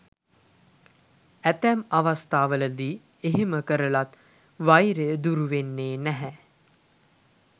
ඇතැම් අවස්ථාවලදී එහෙම කරලත් වෛරය දුරු වෙන්නේ නැහැ.